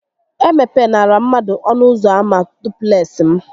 E mepenara mmadụ ọnụ ụzọ ama dupleksị m!